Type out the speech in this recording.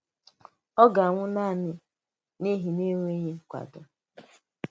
Ọ̀ gà-anwụ̀ nanị n’ihi nànwereghị nkwàdò?